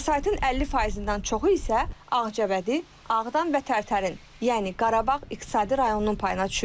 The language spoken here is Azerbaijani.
Vəsaitin 50%-dən çoxu isə Ağcabədi, Ağdam və Tərtərin, yəni Qarabağ iqtisadi rayonunun payına düşür.